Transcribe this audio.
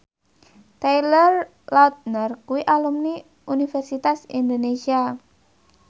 Taylor Lautner kuwi alumni Universitas Indonesia